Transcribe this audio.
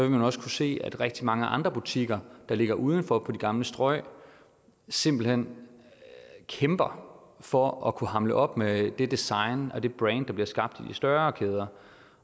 man også kunne se at rigtig mange andre butikker der ligger udenfor på de gamle strøg simpelt hen kæmper for at kunne hamle op med det design og det brand der bliver skabt i de større kæder